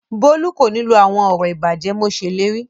Bólú kò ní lọ àwọn ọ̀rọ̀ ìbàjẹ́ mo ṣèlérí